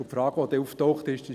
Die Frage, die auftauchte, war: